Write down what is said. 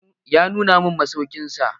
Ya nuna mun masaukin sa.